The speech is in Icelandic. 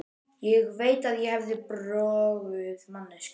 Ég veit að ég hef verið broguð manneskja.